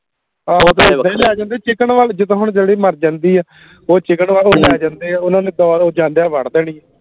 ਆਹੋ ਤੇ ਇਦਾ ਲੈ ਜਾਂਦੇ chicken ਵਾਲੇ ਜਿੰਦਾ ਹੁਣ ਜਿਹੜੀ ਮਾਰ ਜਾਂਦੀ ਆ ਉਹ chicken ਵਾਲੇ ਲੈ ਜਾਂਦੇ ਆ ਓਹਨਾ ਨੇ ਉਹ ਜਾਂਦਿਆਂ ਵੱਢ ਦੇਣੀ